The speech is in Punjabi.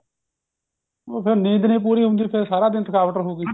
ਉਹ ਫੇਰ ਨੀਂਦ ਨਹੀਂ ਪੂਰੀ ਹੁੰਦੀ ਫੇਰ ਸਾਰਾ ਦਿਨ ਥਕਾਵਟ ਰਹੂਗੀ